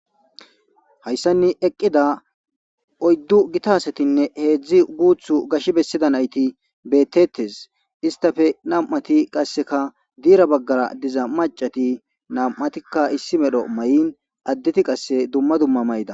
Hayssanni eqqida oyddu gitasetinne heedzdzi guuthu gash bessida nayti beettettes istafe nam'ati qasseka diira baggara diza macati nam'atikka issi medho may'in addeti qasse dumma dumma mayda